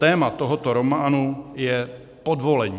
Téma tohoto románu je podvolení.